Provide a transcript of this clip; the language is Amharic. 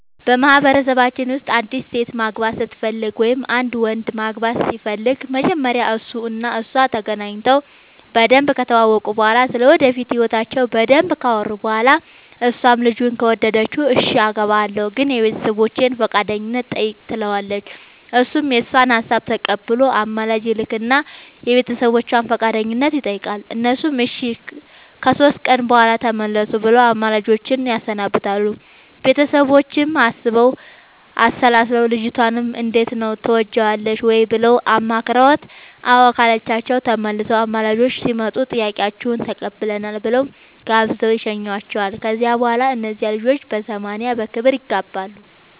በማህበረሰባችን ውስጥ አንዲት ሴት ማግባት ስትፈልግ ወይም አንድ ወንድ ማግባት ሲፈልግ መጀመሪያ እሱ እና እሷ ተገናኝተው በደንብ ከተዋወቁ እና ስለ ወደፊት ህይወታቸው በደንብ ካወሩ በኋላ እሷም ልጁን ከወደደችው እሽ አገባሀለሁ ግን የቤተሰቦቼን ፈቃደኝነት ጠይቅ ትለዋለች እሱም የእሷን ሀሳብ ተቀብሎ አማላጅ ይልክ እና የቤተሰቦቿን ፈቃደኝነት ይጠይቃል እነሱም እሺ ከሶስት ቀን በኋላ ተመለሱ ብለው አማላጆቹን ያሰናብታሉ ቤተሰቦቿም አስበው አሠላስለው ልጅቷንም እንዴት ነው ትወጅዋለሽ ወይ ብለው አማክረዋት አዎ ካለቻቸው ተመልሰው አማላጆቹ ሲመጡ ጥያቄያችሁን ተቀብለናል ብለው ጋብዘው ይሸኙዋቸዋል ከዚያ በኋላ እነዚያ ልጆች በሰማንያ በክብር ይጋባሉ።